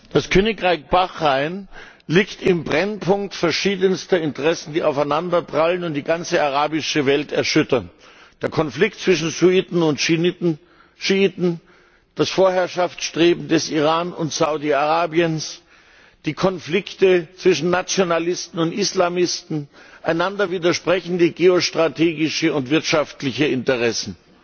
Das Königreich Bahrain liegt im Brennpunkt verschiedenster Interessen, die aufeinanderprallen und die ganze arabische Welt erschüttern der Konflikt zwischen Sunniten und Schiiten, das Vorherrschaftsstreben des Iran und Saudi Arabiens, die Konflikte zwischen Nationalisten und Islamisten, einander widersprechende geostrategische und wirtschaftliche Interessen.